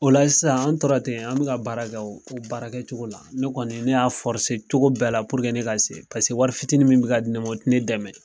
O la sisan an tora ten an bɛ ka baara kɛ o baara kɛcogo la ne kɔni ne y'a cogo bɛɛ la ne ka se paseke wari fitiinin min bɛ ka di ne ma o ti ne dɛmɛ.